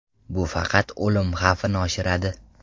Bu faqat o‘lim xavfini oshiradi.